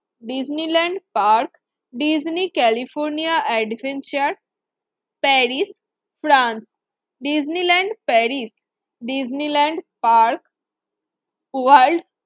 Disneyland park Disney California adventure Paris France Disneyland Paris Disneyland park world